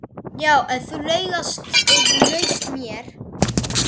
Já, þú laugst að mér.